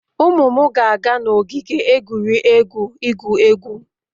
Ụmụ m ga-aga n'ogige egwuregwu igwu egwu